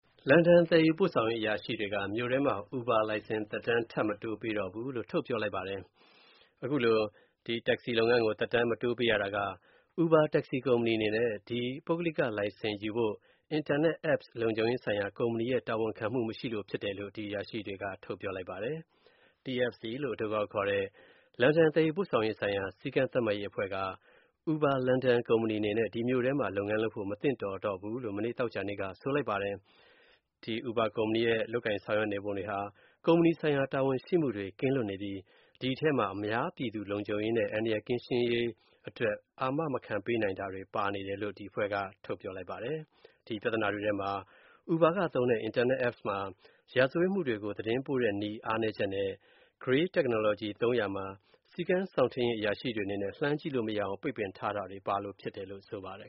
လန်ဒန်သယ်ယူပို့ဆောင်ရေးအရာရှိတွေက မြို့ထဲမှာ Uber လိုင်စင် သက်တမ်း ထပ်မတိုးပေးတော့ဘူးလို့ ထုတ်ပြောလိုက်ပါတယ်။ အခုလို တက္ကစီသက်တမ်းကို ထပ်မတိုးပေးရတာက Uber တက္ကစီကုမ္ပဏီအနေနဲ့ ပုဂ္ဂလိကလိုင်စင်ယူဖို့ အင်တာနက် App လုံခြုံရေးဆိုင်ရာ ကုမ္ပဏီရဲ့ တာဝန်ခံမှု မရှိတာကြောင့်ဖြစ်တယ်လို့ အရာရှိတွေက ထုတ်ပြောလိုက်ပါတယ်။ TfL ( Transport for London ) လို့အတိုကောက်ခေါ်တဲ့ လန်ဒန် သယ်ယူပို့ဆောင်ရေး ဆိုင်ရာ စည်းကမ်းသတ်မှတ်ရေးအဖွဲ့က Uber လန်ဒန်ကုမ္ပဏီအနေနဲ့ မြို့ထဲမှာ လုပ်ငန်းလုပ်ဖို့ မသင့်တော်တော့ဘူးလို့ မနေ့သောကြာနေ့က ဆိုလိုက်ပါတယ်။ ဒီ Uber ကုမ္ပဏီရဲ့ လုပ်ကိုင်ဆောင်ရွက်နေပုံတွေဟာ ကုမ္ပဏီဆိုင်ရာ တာဝန်ယူမှုတွေ ကင်းလွတ်နေပြီး ဒီအထဲမှာ အများပြည်သူလုံခြုံရေးနဲ့ အန္တရာယ်ကင်းရှင်းရေးအတွက် အာမခံ မပေးနိုင်တာတွေပါနေတယ်လို့ ဒီအဖွဲ့က ထုတ်ပြောလိုက်ပါတယ်။ ဒီပြသနာတွေထဲ Uber က သုံးတဲ့ အင်တာနက် App မှာ ရာဇဝတ်မှုတွေကို သတင်းပို့တဲ့ နည်းစနစ် အားနည်းချက်နဲ့ “greyball” technology သုံးရာမှာ စည်းကမ်းစောင့်ထိန်းရေး အရာရှိတွေအနေနဲ့ ဖွင့်ကြည့်လို့မရအောင် ပိတ်ပင်ထားတာတွေ ပါရှိလို့ဖြစ်တယ်လို့ ဆိုပါတယ်